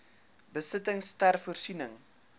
besittings ter voorsiening